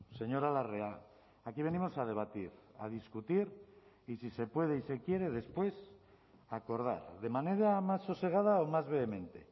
señora larrea aquí venimos a debatir a discutir y si se puede y se quiere después a acordar de manera más sosegada o más vehemente